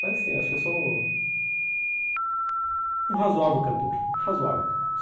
Mas, sim, acho que eu sou um razoável cantor, razoável.